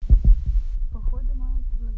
походом